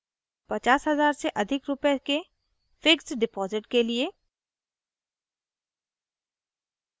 50 000 से अधिक रूपए के fixed डिपॉज़िट के लिए